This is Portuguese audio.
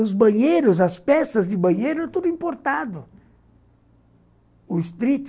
Os banheiros, as peças de banheiro eram tudo importados.